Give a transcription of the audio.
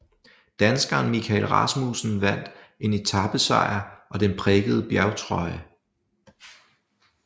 Danskeren Michael Rasmussen vandt en etapesejr og den prikkede bjergtrøje